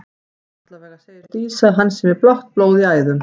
Allavega segir Dísa að hann sé með blátt blóð í æðum.